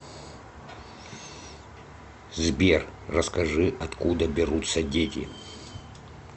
сбер расскажи откуда берутся дети